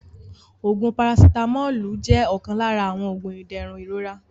Oògún "parasitamọ́ọ́lù" jẹ́ ọ̀kan lára àwọn Oògún ìdẹ̀rùn ìrora